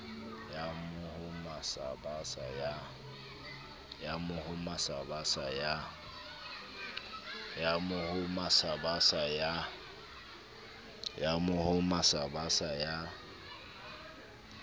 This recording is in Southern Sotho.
ya mohoma sa basa ya